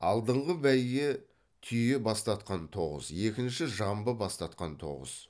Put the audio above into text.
алдыңғы бәйге түйе бастатқан тоғыз екінші жамбы бастатқан тоғыз